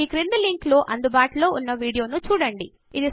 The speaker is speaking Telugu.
ఈ క్రింది లింక్ లో అందుబాటులో ఉన్న వీడియోను చూడండి